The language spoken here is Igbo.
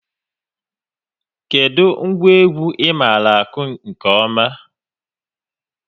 Kedụ ngwa egwu ị maara akụ nke ọma?